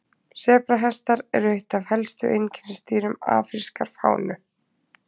Sebrahestar eru eitt af helstu einkennisdýrum afrískrar fánu.